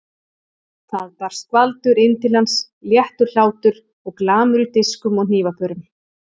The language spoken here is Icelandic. Það barst skvaldur inn til hans, léttur hlátur og glamur í diskum og hnífapörum.